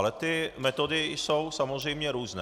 Ale ty metody jsou samozřejmě různé.